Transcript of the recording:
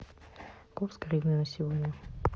курс гривны на сегодня